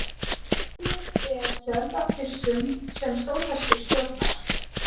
Önnur er hjörð af hryssum sem stóðhestur stjórnar.